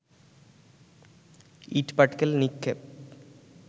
ইটপাটকেল নিক্ষেপ